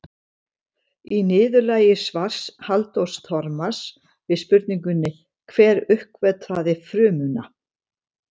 Í niðurlagi svars Halldórs Þormars við spurningunni Hver uppgötvaði frumuna?